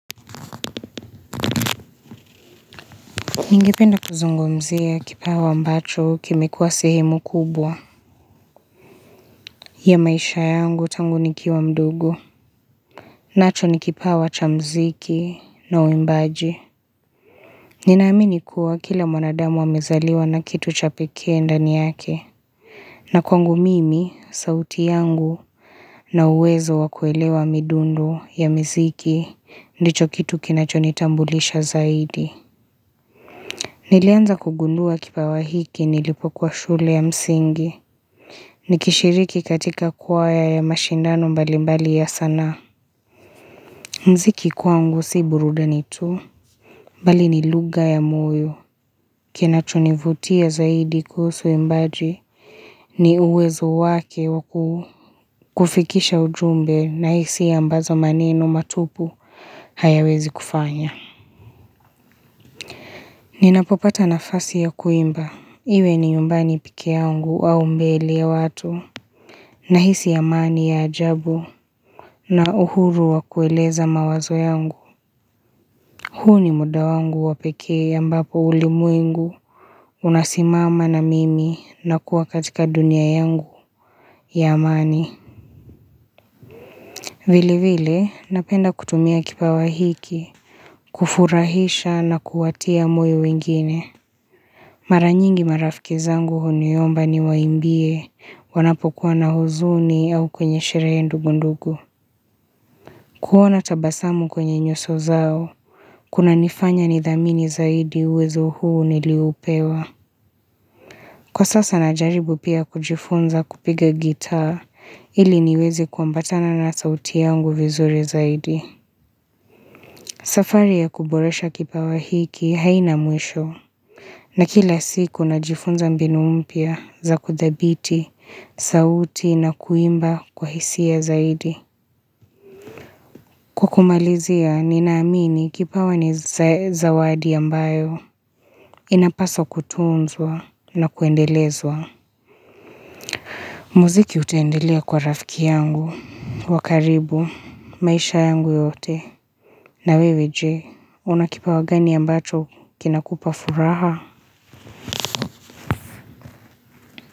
Ningependa kuzungumzia kipawa ambacho kime kuwa sehemu kubwa ya maisha yangu tangu nikiwa mdogo. Nacho ni kipawa cha mziki na uimbaji. Ninaamini kuwa kila mwanadamu amezaliwa na kitu cha pekee ndani yake. Na kwangu mimi, sauti yangu na uwezo wa kuelewa midundo ya miziki ndicho kitu kinacho nitambulisha zaidi. Nilianza kugundua kipawa hiki nilipokua shule ya msingi, nikishiriki katika kwaya ya mashindano mbali mbali ya sanaa. Mziki kwangu si burudani tu, mbali ni lugha ya moyo. Kinachonivutia zaidi kuhusu uimbaji, ni uwezo wake wa kufikisha ujumbe na hisia mbazo maneno matupu hayawezi kufanya. Ninapopata nafasi ya kuimba, iwe ni nyumbani peke yangu au mbele ya watu, nahisi amani ya ajabu, na uhuru wa kueleza mawazo yangu. Huu ni muda wangu wapekee mbapo ulimwengu unasimama na mimi na kuwa katika dunia yangu ya amani. Vili vile, napenda kutumia kipawa hiki, kufurahisha na kuwatia moyo wengine. Mara nyingi marafiki zangu huniomba niwaimbie, wanapokuwa na huzuni au kwenye sherehe ndogo ndogo. Kuona tabasamu kwenye nyuso zao, kuna nifanya nidhamini zaidi uwezo huu nilioupewa. Kwa sasa najaribu pia kujifunza kupiga gitaa, ili niweze kuambatana na sauti yangu vizuri zaidi. Safari ya kuboresha kipawa hiki haina mwisho. Na kila siku najifunza mbinu mpya, za kuthabiti sauti na kuimba kwa hisia zaidi. Kwa kumalizia, ninaamini kipawa ni zawadi ambayo Inapaswa kutunzwa na kuendelezwa. Muziki utendelea kwa rafiki yangu, wa karibu, maisha yangu yote. Na wewe je, una kipawa gani ambacho kinakupa furaha?